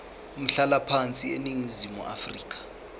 umhlalaphansi eningizimu afrika